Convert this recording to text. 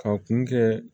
Ka kun kɛ